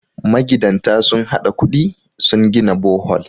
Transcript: magidanta sun haɗa kudi sun gina Bohol